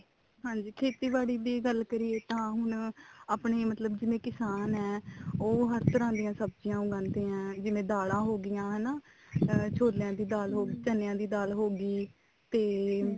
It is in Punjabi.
ਹਾਂਜੀ ਖੇਤੀਬਾੜੀ ਦੀ ਗੱਲ ਕਰੀਏ ਤਾਂ ਹੁਣ ਆਪਣੀ ਮਤਲਬ ਜਿਵੇਂ ਕਿਸਾਨ ਹੈ ਉਹ ਹਰ ਤਰ੍ਹਾਂ ਦੀਆਂ ਸਬਜੀਆਂ ਉਗਾਂਦੇ ਆ ਜਿਵੇਂ ਦਾਲਾਂ ਹੋਗੀਆਂ ਹਨਾ ਛੋਲਿਆਂ ਦੀ ਦਾਲ ਹੋਗੀ ਚਨਿਆ ਦੀ ਦਲ ਹੋਗੀ ਤੇ